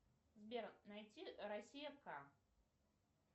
сбер найти россия ка